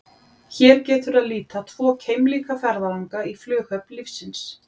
Hér getur að líta tvo keimlíka ferðalanga í flughöfn lífsins.